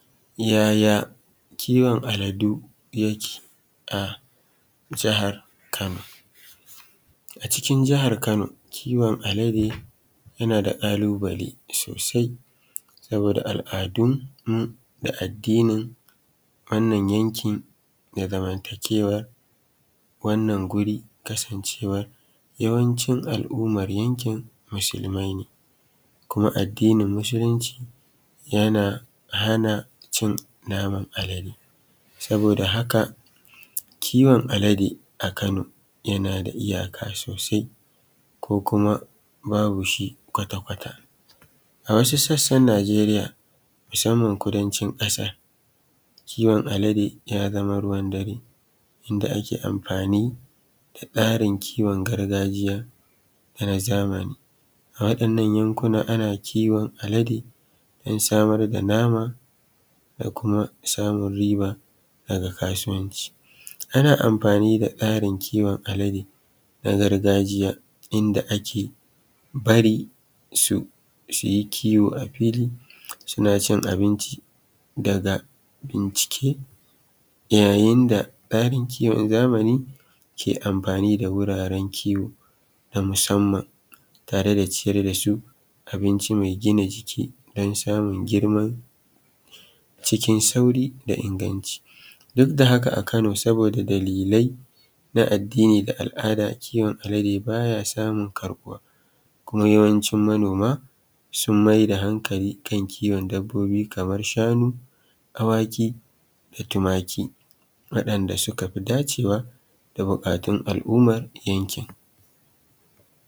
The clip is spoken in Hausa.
Yaya kiwon aladu yake a jihar Kano. A cikin jihar Kano kiwon alade yana da ƙalubale sosai saboda al'adun da addinin wannan yankin da zamantakewar wannan guri kasancewar yawanci al'ummar yanki musulmai ne, kuma addinin musulunci yana hana cin naman alade. Saboda haka kiwon alade yana da iyaka sosai ko kuma babu shi kwata-kwata. A wasu sassan Nijeriya musamman kudancin ƙasar kowon alade ya zama ruaan dare yadda ake amfani da rsarin kiwon gargajiya da tsarin na zamani. Waɗannan yankuna ana kiwon alade don samar da nama da kuma samar da riba daga kasuwanci. Ana amfani da tsarin kiwon alade na gargajiya inda ake bari su yi kiwo a fili suna cin abinci daga bincike yayin da tsari. Kowon zamani ke amfani da wuraren kiwo na musamman tare da ciyar da su abinci mai gina jiki don samun girma ciion sauƙi da sauri da inganci. Duk da haka a kano da dalilai na addini da al'ada kiwon alade ba ya samun karbuwa kuma yawancin mayar da hankali kan kiwon dabbobi kamar shanu, awaki da tumaki waɗanda suka fi dacewa da buƙatun al'ummar yankin.